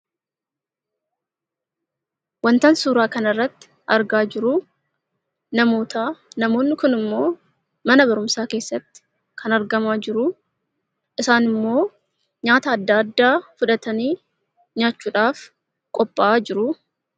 Waantan suuraa kana irratti argaa jiru, namoota. Namoonni Kun immoo mana barumsaa keessatti kan argamaa jiruu, isaan immoo nyaata addaa addaa fudhatanii nyaachuudhaaf qophaa'aa jiru.